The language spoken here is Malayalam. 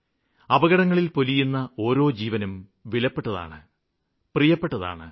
അപകടങ്ങളില് പൊലിയുന്ന ഓരോ ജീവനും വിലപ്പെട്ടതാണ് പ്രിയപ്പട്ടതാണ്